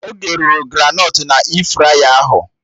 Oge rụrụ granọt na E-fraya ahụ